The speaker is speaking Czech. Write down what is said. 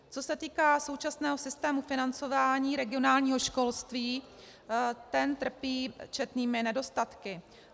Co se týká současného systému financování regionálního školství, ten trpí četnými nedostatky.